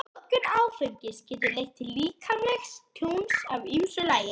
Notkun áfengis getur leitt til líkamlegs tjóns af ýmsu tagi.